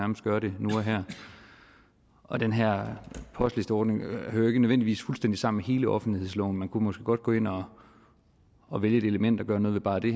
gøre det nu og her og den her postlisteordning hører ikke nødvendigvis fuldstændig sammen med hele offentlighedsloven man kunne måske godt gå ind og og vælge et element og gøre noget ved bare det